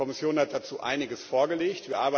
Die Kommission hat dazu einiges vorgelegt.